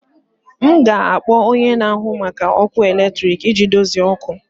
M ga-akpọ onye na-ahụ maka ọkụ eletrik iji dozie ọkụ ọkụ